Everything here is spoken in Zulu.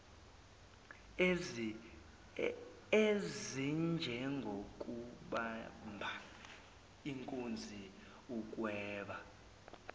ezinjengokubamba inkunzi ukweba